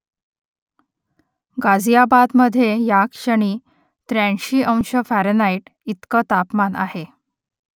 गाझियाबादमधे या क्षणी त्र्याऐंशी अंश फॅरनहाईट इतकं तापमान आहे